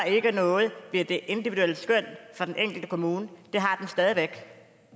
noget ved det individuelle skøn for den enkelte kommune